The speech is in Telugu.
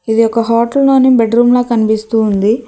ఇది ఒక హోటల్ లోని బెడ్ రూమ్ లా కనిపిస్తు ఉంది.